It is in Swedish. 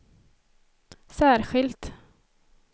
särskilt